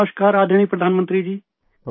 نمسکار معزز وزیر اعظم صاحب